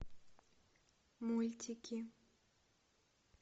мультики